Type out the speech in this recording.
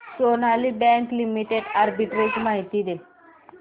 Sonali Bank Limited arbitrage माहिती दे